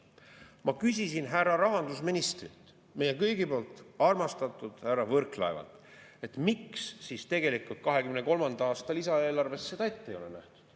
Ma küsisin härra rahandusministrilt, meie kõigi poolt armastatud härra Võrklaevalt, et miks siis tegelikult 2023. aasta lisaeelarves seda ette ei ole nähtud.